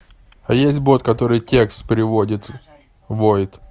а есть бот который текст приводит войт